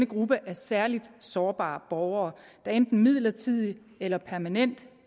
gruppe af særlig sårbare borgere der enten midlertidigt eller permanent